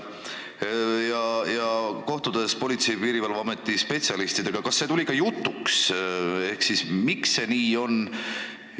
Kui te kohtusite Politsei- ja Piirivalveameti spetsialistidega, kas tuli ka jutuks, miks see nii on?